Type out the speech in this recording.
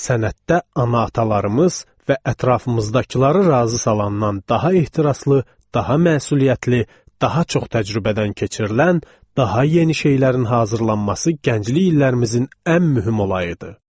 Sənətdə ana-atalarımız və ətrafımızdakıları razı salandan daha ehtiraslı, daha məsuliyyətli, daha çox təcrübədən keçirilən, daha yeni şeylərin hazırlanması gənclik illərimizin ən mühüm olayı idi.